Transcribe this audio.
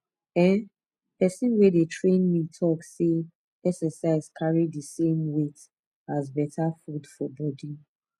ehn person wey dey train me talk say exercise carry the same weight as better food for body